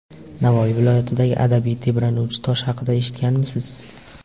Navoiy viloyatidagi abadiy tebranuvchi tosh haqida eshitganmisiz?.